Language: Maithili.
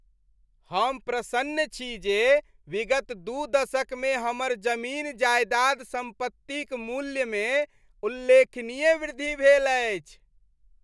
हम प्रसन्न छी जे विगत दू दशकमे हमर जमीन जायदाद सम्पत्तिक मूल्यमे उल्लेखनीय वृद्धि भेल अछि।